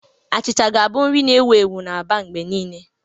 Achịcha ga-abụ nri na-ewu ewu na Aba mgbe niile.